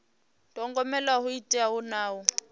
thogomela ho teaho na u